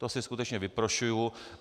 To si skutečně vyprošuji.